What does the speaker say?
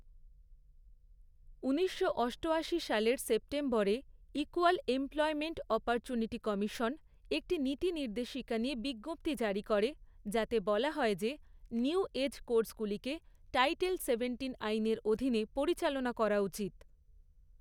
ঊনিশশো অষ্টআশি সালের সেপ্টেম্বরে ইক্যুয়াল এমপ্লয়মেন্ট অপরচুনিটি কমিশন একটি নীতি নির্দেশিকা নিয়ে বিজ্ঞপ্তি জারি করে, যাতে বলা হয় যে, নিউ এজ কোর্সগুলিকে টাইটেল সেভেন্টিন আইনের অধীনে পরিচালনা করা উচিত।